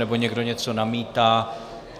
Nebo někdo něco namítá?